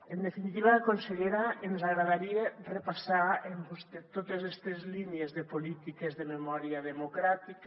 en definitiva consellera ens agradaria repassar amb vostè totes estes línies de polítiques de memòria democràtica